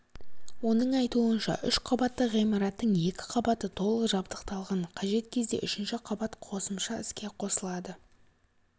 оның айтуынша үш қабатты ғимараттың екі қабаты толық жабдықталған қажет кезде үшінші қабат қосымша іске қосылады